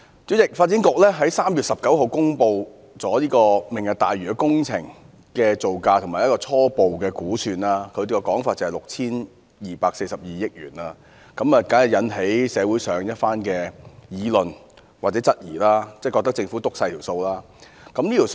主席，發展局在3月19日公布"明日大嶼"工程的造價及初步估算，當時的說法是 6,240 億元，當然引起了社會上一番議論和質疑，認為政府刻意把造價說小了。